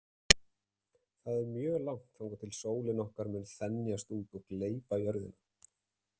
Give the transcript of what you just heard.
Það er mjög langt þangað til að sólin okkar mun þenjast út og gleypa jörðina.